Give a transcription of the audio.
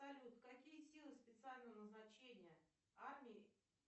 салют какие силы специального назначения армии